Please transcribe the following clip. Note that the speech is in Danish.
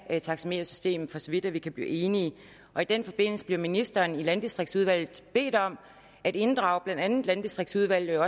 af taxametersystemet for så vidt vi kan blive enige og i den forbindelse blev ministeren i landdistriktsudvalget bedt om at inddrage blandt andet landdistriktsudvalget og